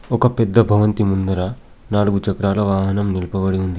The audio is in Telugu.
ఒక పెద్ద భవంతి ముందర నాలుగు చక్రాల వాహనం నిలుపబడి ఉంది.